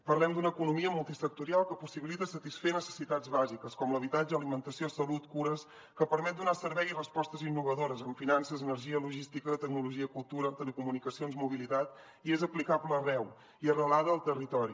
parlem d’una economia multisectorial que possibilita satisfer necessitats bàsiques com l’habitatge alimentació salut cures que permet donar servei i respostes innovadores en finances energia logística tecnologia cultura telecomunicacions mobilitat i és aplicable arreu i arrelada al territori